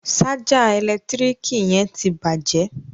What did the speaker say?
Ṣájà ẹ̀lẹ́tíríkì yẹn ti bàjẹ́